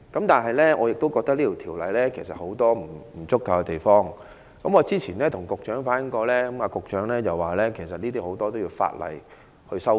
但是，我覺得條例有很多不足的地方，我早前跟局長反映過，局長表示該條例有很多地方都需要修改。